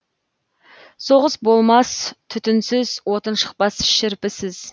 соғыс болмас түтінсіз отын шықпас шірпісіз